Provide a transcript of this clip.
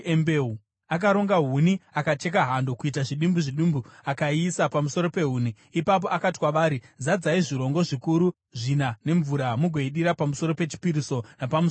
Akaronga huni, akacheka hando kuita zvidimbu zvidimbu, akaiisa pamusoro pehuni. Ipapo akati kwavari, “Zadzai zvirongo zvikuru zvina nemvura mugoidira pamusoro pechipiriso napamusoro pehuni.”